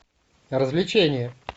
развлечение